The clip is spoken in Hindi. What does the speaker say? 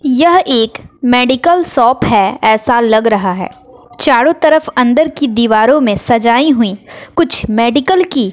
यह एक मेडिकल शॉप है ऐसा लग रहा है। चारों तरफ अन्दर की दीवारों में सजाती हुई कुछ मेडिकल की--